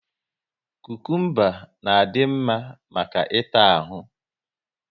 Kukumba na adị mma maka ịta ahụ